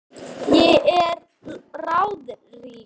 Ég er ráðrík.